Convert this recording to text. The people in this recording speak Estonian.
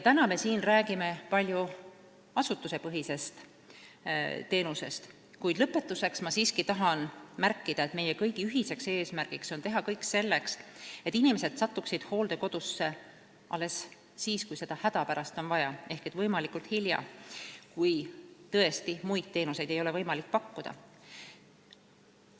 Täna me räägime siin palju asutusepõhisest teenusest, kuid lõpetuseks tahan siiski märkida, et meie ühine eesmärk on teha kõik selleks, et inimesed satuksid hooldekodusse alles siis, kui seda on hädapärast vaja ehk võimalikult hilja, st kui tõesti muid teenuseid ei ole võimalik pakkuda.